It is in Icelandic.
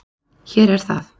Hér er það.